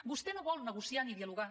vostè no vol negociar ni dialogar